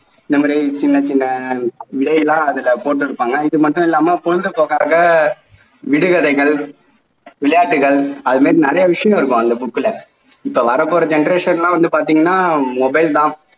இந்த மாதிரி சின்ன சின்ன விடையெல்லாம் அதில் போட்டிருபாங்க இது மட்டும் இல்லாம பொழுது போக்காக விடுகதைகள் விளையாட்டுகள் அது மாதிரி நிறைய விஷயங்கள் இருக்கும் அந்த book ல இப்போ வர போற generations லாம் வந்து பார்த்தீங்கன்னா mobile தான்